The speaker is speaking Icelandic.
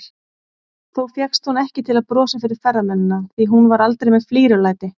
Þó fékkst hún ekki til að brosa fyrir ferðamennina, því hún var aldrei með flírulæti.